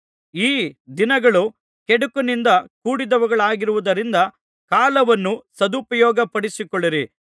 ಈ ದಿನಗಳು ಕೆಡುಕಿನಿಂದ ಕೂಡಿದವುಗಳಾಗಿರುವುದ್ದರಿಂದ ಕಾಲವನ್ನು ಸದುಪಯೋಗಪಡಿಸಿಕೊಳ್ಳಿರಿ